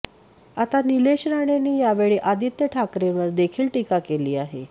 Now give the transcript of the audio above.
आता निलेश राणेंनी यावेळी आदित्य ठाकरेंवर देखील टीका केली आहे